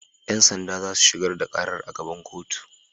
Yan sanda za su shigar da karar a gaban kotu